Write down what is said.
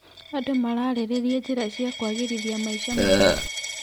Andũ mararĩrĩria njĩra cia kũagĩrithia maica mao.